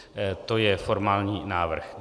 To je formální návrh.